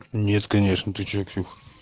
нет конечно ты что пксюх